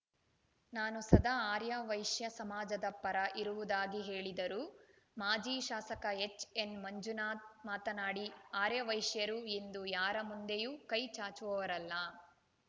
ನಾನು ಸದಾ ಆರ್ಯವೈಶ್ಯ ಸಮಾಜದ ಪರ ಇರುವುದಾಗಿ ಹೇಳಿದರು ಮಾಜಿ ಶಾಸಕ ಎಚ್‌ಎನ್‌ಮಂಜುನಾಥ್‌ ಮಾತನಾಡಿ ಆರ್ಯವೈಶ್ಯರು ಎಂದೂ ಯಾರ ಮುಂದೆಯೂ ಕೈ ಚಾಚುವವರಲ್ಲ